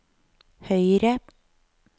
høyre